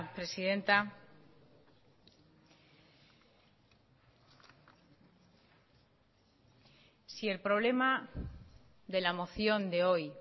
presidenta si el problema de la moción de hoy